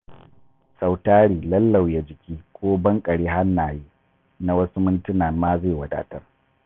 Sau tari lallauya jiki ko banƙare hannaye na wasu mintuna ma zai wadatar.